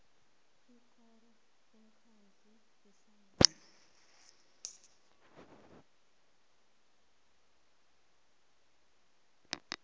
ikoro umkhandlu ihlangano